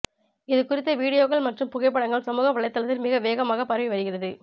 இதுகுறித்த வீடியோக்கள் மற்றும் புகைப்படங்கள் சமூக வலைதளத்தில் மிக வேகமாக பரவி வருகிறது